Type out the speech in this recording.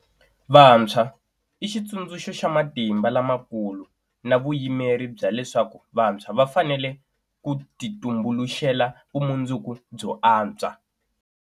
Vantshwa i xitsundzuxo xa matimba lamakulu na vuyimeri bya leswaku vantshwa va fanele ku titumbuluxela vumundzuku byo antswa.